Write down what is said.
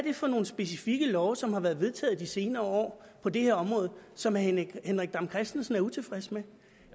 er for nogle specifikke love som er blevet vedtaget i de senere år på det område og som herre henrik dam kristensen er utilfreds med